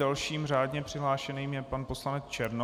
Dalším řádně přihlášeným je pan poslanec Černoch.